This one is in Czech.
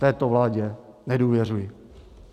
Této vládě nedůvěřuji.